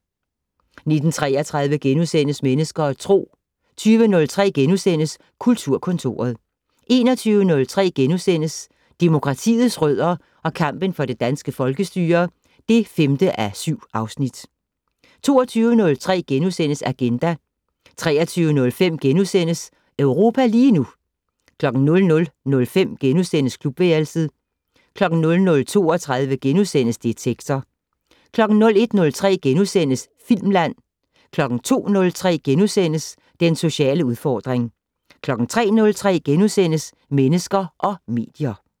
19:33: Mennesker og Tro * 20:03: Kulturkontoret * 21:03: Demokratiets rødder og kampen for det danske folkestyre (5:7)* 22:03: Agenda * 23:05: Europa lige nu * 00:05: Klubværelset * 00:32: Detektor * 01:03: Filmland * 02:03: Den sociale udfordring * 03:03: Mennesker og medier *